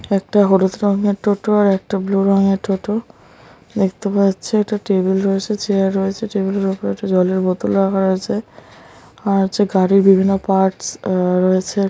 একটা হলুদ রঙের টোটো আর একটা ব্লু রংয়ের টোটো দেখতে পাওযা যাচ্ছে । একটা টেবিল রয়েছেএকটা চেয়ার রয়েছে ।টেবিল - এর ওপর একটা জলের বোতলে রাখা রয়েছে আর হচ্ছে গাড়ির বিভিন্ন পার্টস আহ রয়েছে ।